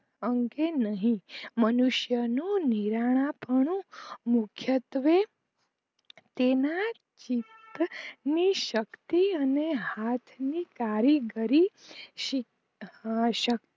અંકે નહીં મનુષ્યનું નીરનાપણું મુખ્યત્વે તેના જ શીત જ ની શક્તિ અને હાથ ની કારીગરી ક્ષિત